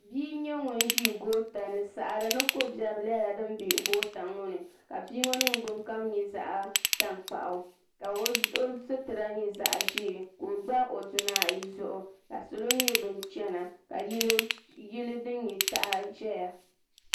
Bia n nyɛ ŋun ʒi gootani saɣari ni kobiɛri nyɛla din be goota ŋɔ ni ka bia ŋɔ ningbin kom nyɛ zaɣa tankpaɣu ka sitira nyɛ zaɣa ʒee ka o gba o duna ayi zuɣu ka salo nyɛ bin chena ka yili din nyɛ taha ʒɛya.